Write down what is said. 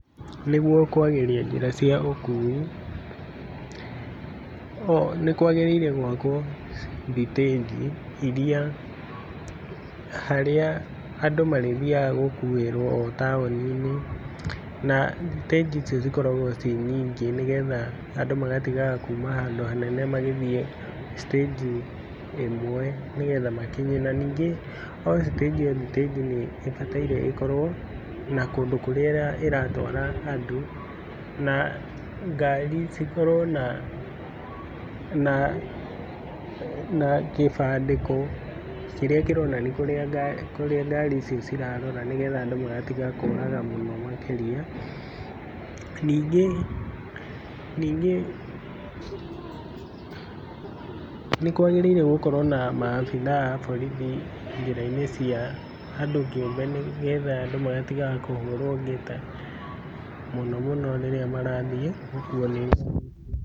Nĩguo kwagĩrithia njĩra cia ũkui, nĩ kwagĩrĩire gwakwo thitenji iria, harĩa andũ marĩ thiaga gũkuĩrwo taũni-inĩ na thitenji icio cikoragwo cirĩ nyingi, nĩgetha andũ magatigaga kumaga handũ hanene magĩthiĩ thitenji ĩmwe, nĩgetha makinye na ningĩ, o thitenji thitenji nĩ ibataire ĩkorwo na kũndũ kũrĩa ĩratwara andũ. Na ngari cikorwa na na na kĩbandĩko kĩrĩa kĩronania kũrĩa ngari icio cirarora, nĩgetha andũ magatigaga kũraga mũno makĩria. Ningĩ ningĩ nĩ kwagĩrĩire gũkorwo na maabitha a borithi njĩra-inĩ cia andũ kĩũmbe, nĩgetha andũ magatigaga kũhũrwo ngeta mũno mũno rĩrĩa marathiĩ gũkuo nĩ...